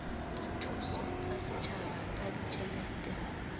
dithuso tsa setjhaba ka ditjhelete